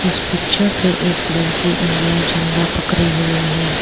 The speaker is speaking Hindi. इस पिक्चर पे एक लड़की इंडिया झंडा पकड़े हुए हैं।